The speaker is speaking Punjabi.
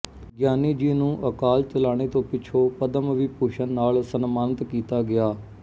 ਗਿਆਨੀ ਜੀ ਨੂੰ ਅਕਾਲ ਚਲਾਣੇ ਤੋਂ ਪਿੱਛੋਂ ਪਦਮ ਵਿਭੂਸ਼ਣ ਨਾਲ ਸਨਮਾਨਿਤ ਕੀਤਾ ਗਿਆ